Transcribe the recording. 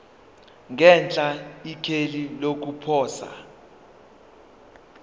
ngenhla ikheli lokuposa